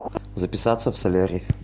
записаться в солярий